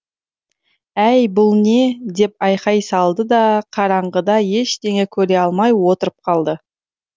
әй бұл не деп айқай салды да қараңғыда ештеңе көре алмай отырып қалды